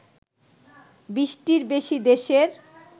২০টির বেশি দেশের